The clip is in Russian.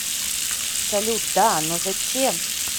салют да но зачем